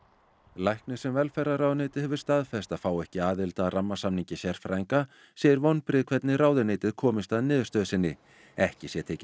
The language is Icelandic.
læknir sem velferðarráðuneytið hefur staðfest að fái ekki aðild að rammasamningi sérfræðinga segir vonbrigði hvernig ráðuneytið komist að niðurstöðu sinni ekki sé tekið